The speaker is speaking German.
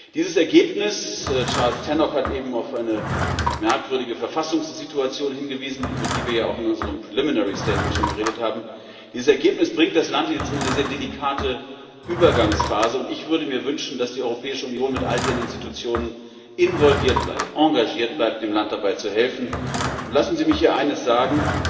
Dieses Ergebnis Charles Tannock hat eben auf eine merkwürdige Verfassungssituation hingewiesen, über die wir auch in unserem Vorbericht schon geredet haben bringt das Land jetzt in eine sehr delikate Übergangsphase, und ich würde mir wünschen, dass die Europäische Union mit all ihren Institutionen involviert bleibt, engagiert bleibt, dem Land dabei zu helfen. Lassen Sie mich hier eines sagen